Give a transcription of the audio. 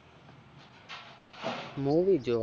movie જોવા